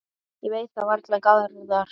Ég veit það varla, Garðar.